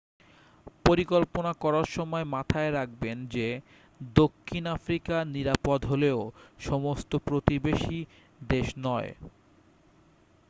পরিকল্পনা করার সময় মাথায় রাখবেন যে দক্ষিণ আফ্রিকা নিরাপদ হলেও সমস্ত প্রতিবেশী দেশ নয়